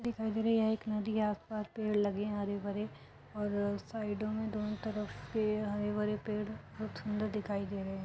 दिखाई दे रही है एक नदी आस पास पेड़ लगे हैं हरे भरे और साइडों में दोनों तरफ के हरे भरे पेड़ बहुत सुंदर दिखाई दे रहे हैं |